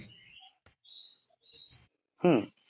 হম